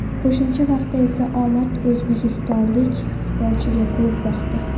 Qo‘shimcha vaqtda esa omad o‘zbekistonlik sportchiga kulib boqdi.